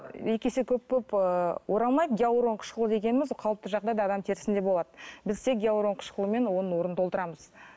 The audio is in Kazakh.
екі есе көп болып ыыы оралмайды гиалурон қышқылы дегеніміз ол қалыпты жағдайда да адам терісінде болады біз тек гиалурон қышқылымен оның орнын толтырамыз